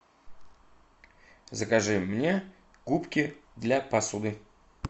закажи мне губки для посуды